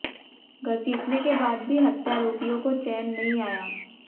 घसीटने के बाद भी हत्यारोपियों को चैन नहीं आया